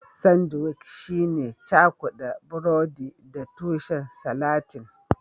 Sandwic shine cakuda burodi da tushen salatin